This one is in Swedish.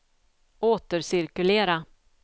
återcirkulera